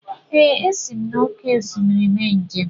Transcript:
Ee, esi m n’oké osimiri mee njem.